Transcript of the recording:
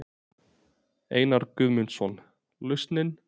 Einar Guðmundsson: Lausnin?